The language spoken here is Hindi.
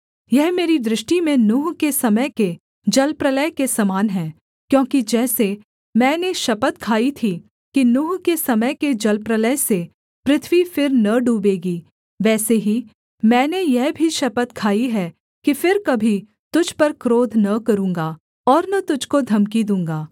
यह मेरी दृष्टि में नूह के समय के जलप्रलय के समान है क्योंकि जैसे मैंने शपथ खाई थी कि नूह के समय के जलप्रलय से पृथ्वी फिर न डूबेगी वैसे ही मैंने यह भी शपथ खाई है कि फिर कभी तुझ पर क्रोध न करूँगा और न तुझको धमकी दूँगा